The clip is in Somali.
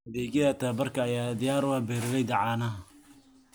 Adeegyada tababarka ayaa diyaar u ah beeralayda caanaha.